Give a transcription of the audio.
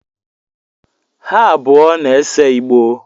Ha abụọ na-ese Igbo